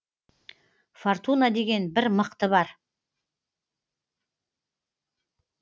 фортуна деген бір мықты бар